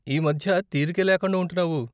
ఈ మధ్య తీరికే లేకుండా ఉంటున్నావు?